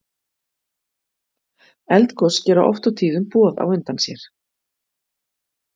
eldgos gera oft og tíðum boð á undan sér